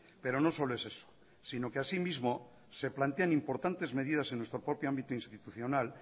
pero no solo es eso sino que así mismo se plantean importantes medidas en nuestro propio ámbito institucional